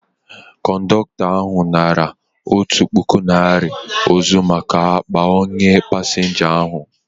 Kọndọktọ ahu natara otụ pụkụ naira ọzọ maka akpa onye pasinja ahu